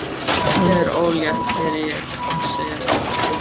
Hún er ólétt, heyri ég hana segja við aðra.